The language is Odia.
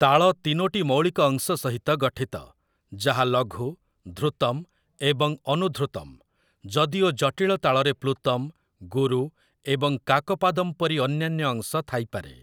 ତାଳ ତିନୋଟି ମୌଳିକ ଅଂଶ ସହିତ ଗଠିତ, ଯାହା ଲଘୁ, ଧୃତମ୍ ଏବଂ ଅନୁଧୃତମ୍ , ଯଦିଓ ଜଟିଳ ତାଳରେ ପ୍ଲୁତମ୍, ଗୁରୁ ଏବଂ କାକପାଦମ୍ ପରି ଅନ୍ୟାନ୍ୟ ଅଂଶ ଥାଇପାରେ ।